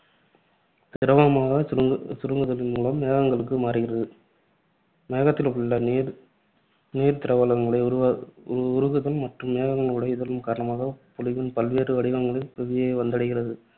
திரவமாகச் சுருங்கு~ சுருங்குதலின் மூலம் மேகங்களுக்கு மாறுகிறது. மேகத்தில் உள்ள நீர் நீர்திவலைகள் உருவ~ உருகுதல் மற்றும் மேகம் உடைதல் காரணமாக பொழிவின் பல்வேறு வடிவங்களில் புவியை வந்தடைகிறது.